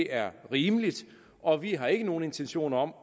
er rimeligt og vi har ikke nogen intentioner om